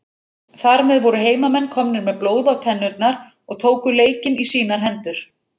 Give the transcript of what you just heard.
Þar með voru heimamenn komnir með blóð á tennurnar og tóku leikinn í sínar hendur.